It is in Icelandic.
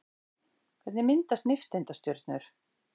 Hvernig myndast nifteindastjörnur?